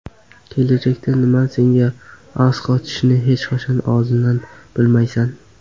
Kelajakda nima senga asqotishini hech qachon oldindan bilmaysan.